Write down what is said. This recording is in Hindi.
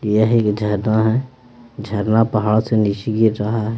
यह एक झरना है झरना पहाड़ से नीचे गिर रहा है।